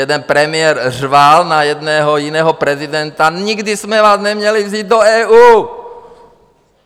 Jeden premiér řval na jednoho jiného prezidenta: Nikdy jsme vás neměli vzít do EU.